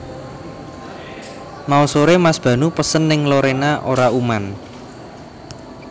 Mau sore Mas Banu pesen ning Lorena ora uman